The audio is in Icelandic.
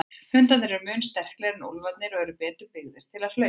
Hundarnir eru mun sterklegri en úlfarnir eru betur byggðir til hlaupa.